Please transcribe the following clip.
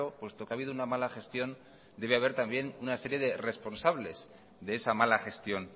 puesto que ha habido una mala gestión debe haber también una serie de responsables de esa mala gestión